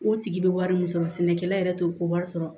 O tigi bɛ wari min sɔrɔ sɛnɛkɛla yɛrɛ t'o ko wari sɔrɔ